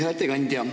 Hea ettekandja!